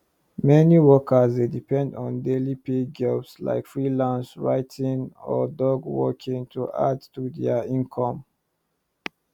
meni workers dey depend on daily pay jobs like freelance writing or dog walking to add to dia income